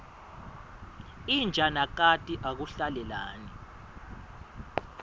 inja nakati akuhlalelani